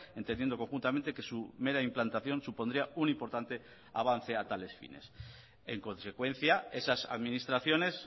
entendiendo conjuntamente que su mera implantación supondría un importante avance a tales fines en consecuencia esas administraciones